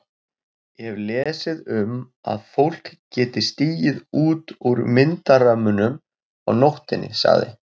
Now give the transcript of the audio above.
Ég hef lesið um að fólk geti stigið út úr myndarömmunum á nóttunni sagði